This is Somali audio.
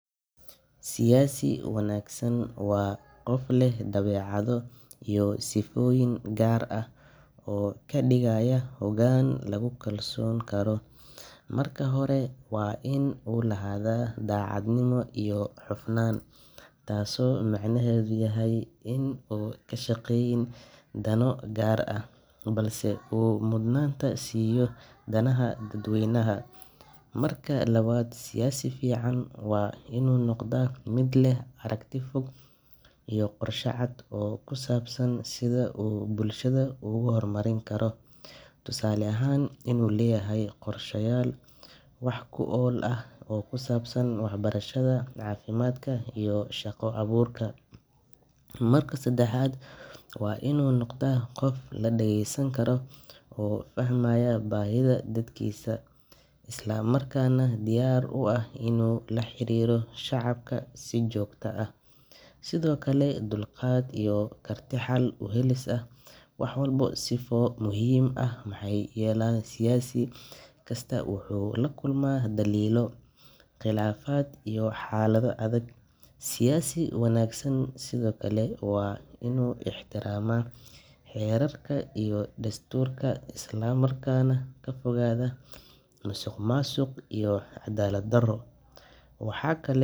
Siyaasi wanaagsan waa qof leh dabeecado iyo sifooyin gaar ah oo ka dhigaya hoggaan lagu kalsoonaan karo. Marka hore, waa inuu lahaadaa daacadnimo iyo hufnaan, taasoo macnaheedu yahay inuusan ku shaqeynin dano gaar ah, balse uu mudnaanta siiyo danaha dadweynaha. Marka labaad, siyaasi fiican waa inuu noqdaa mid leh aragti fog iyo qorshe cad oo ku saabsan sida uu bulshada ugu horumarin karo. Tusaale ahaan, inuu leeyahay qorshayaal wax ku ool ah oo ku saabsan waxbarashada, caafimaadka, iyo shaqo-abuurka. Marka saddexaad, waa inuu noqdaa qof la dhageysan karo oo fahmaya baahida dadkiisa, isla markaana diyaar u ah inuu la xiriiro shacabka si joogto ah. Sidoo kale, dulqaad iyo karti xal-u-helis waa labo sifo oo muhiim ah, maxaa yeelay siyaasi kastaa wuu la kulmaa dhaliilo, khilaafaad iyo xaalado adag. Siyaasi wanaagsan sidoo kale waa inuu ixtiraamaa xeerarka iyo dastuurka, islamarkaana ka fogaadaa musuqmaasuq iyo cadaalad-darro. Waxaa kale.